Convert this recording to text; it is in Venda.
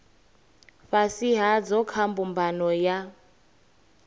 fhasi hadzo kha mbumbano ya